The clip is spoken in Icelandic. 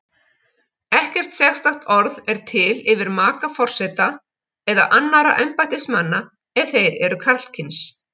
Ekkert sérstakt orð er til yfir maka forseta eða annarra embættismanna ef þeir eru karlkyns.